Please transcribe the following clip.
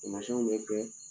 Taamasiyɛnw bɛ kɛ